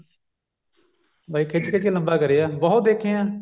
ਬਾਈ ਖਿੱਚ ਖਿੱਚ ਕੇ ਲੰਬਾ ਕਰਿਆ ਬਹੁਤ ਦੇਖੇ ਏਂ